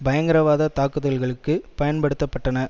பயங்கரவாத தாக்குதல்களுக்கு பயன்படுத்த பட்டன